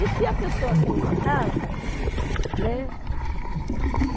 E se a pessoa tem uma casa, né?